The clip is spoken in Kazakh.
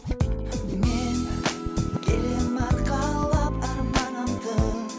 мен келемін арқалап арманымды